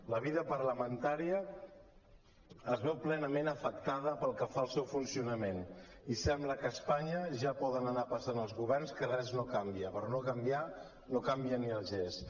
la vida parlamentària es veu plenament afectada pel que fa al seu funcionament i sembla que a espanya ja poden anar passant els governs que res no canvia per no canviar no canvia ni el gest